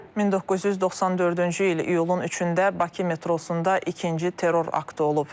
1994-cü il iyulun 3-də Bakı metrosunda ikinci terror aktı olub.